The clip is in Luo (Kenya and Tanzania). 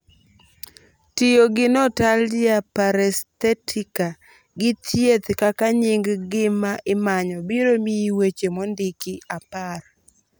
tiyogi 'notalgia paresthetica gi thieth' kaka nying gima imanyo biro miyi weche mondiki apar